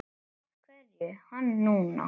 Af hverju hann núna?